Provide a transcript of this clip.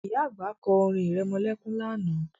Ìyá àgbà kọ́ orin irẹmọlẹ́kún lánàá